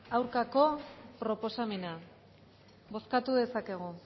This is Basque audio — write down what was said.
aurkako proposamena bozkatu dezakegu